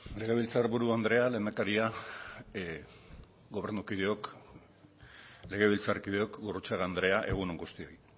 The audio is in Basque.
legebiltzarburu andrea lehendakaria gobernukideok legebiltzarkideok gurrutxaga andrea egun on guztioi